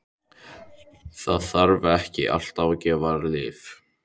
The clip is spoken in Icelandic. Það þarf ekki alltaf að gefa lyf.